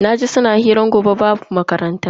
Naji suna hirar gobe babu makaranta.